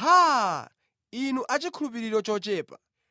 Haa! Inu achikhulupiriro chochepa!